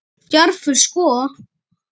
Djarfur sko.